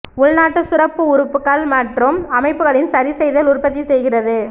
உள்நாட்டு சுரப்பு உறுப்புகள் மற்றும் அமைப்புகளின் சரிசெய்தல் உற்பத்தி செய்கிறது